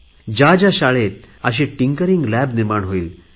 ज्या ज्या शाळेत अशी टिंकरिंग लॅब निर्माण होईल